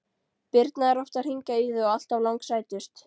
Birna er oft að hringja í þig og alltaf langsætust!